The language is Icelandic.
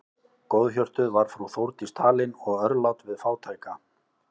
Góðhjörtuð var frú Þórdís talin og örlát við fátæka.